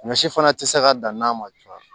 Ɲɔ si fana tɛ se ka dan n'a ma caya